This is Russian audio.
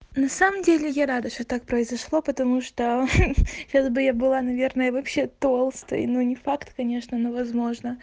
на самом деле я рада что так произошло потому что ха-ха сейчас бы я была наверное вообще толстой но не факт конечно но возможно